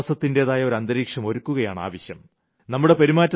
പരസ്പരം വിശ്വാസത്തിന്റേതായ ഒരന്തരീക്ഷം ഒരുക്കുകയാണ് ആവശ്യം